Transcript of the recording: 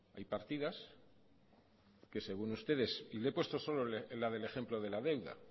hay partidas que según ustedes y le he puesto solo la del ejemplo de la deuda